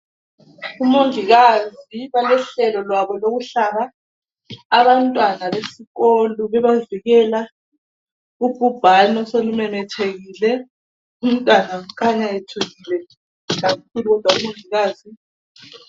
Umongikazi balohlelo lwabo lokuhlaba abantwana besikolo bebavikela ubhubhane oselumemethekile umntwana ukhanya ethukile kakhulu kodwa umongikazi .